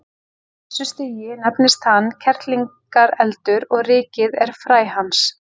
Á þessu stigi nefnist hann kerlingareldur og rykið er fræ hans.